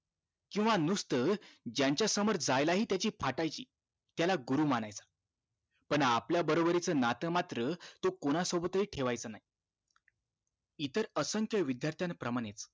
केंव्हा नुसतं ज्यांच्या समोर जायला हि त्याची फाटायची त्याला गुरु मानायचं पण आपल्या बरोबरीचं नातं मात्र तो कोणासोबत हि ठेवायच नाही इतर असंख्य विद्यार्था प्रमाणे